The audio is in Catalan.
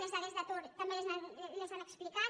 les dades d’atur també les han explicat